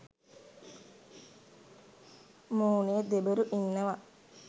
මුනේ දෙබරු ඉන්නවා.